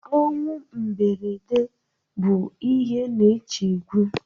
Ọnwụ mberede bụ ihe na-echegbu